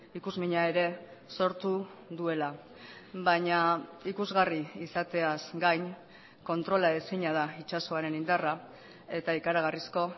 ikusmina ere sortu duela baina ikusgarri izateaz gain kontrolaezina da itsasoaren indarra eta ikaragarrizko